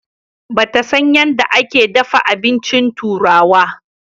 Ba ta san yadda ake dafa abinci turawa.